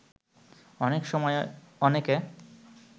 অনেক সময় অনেকে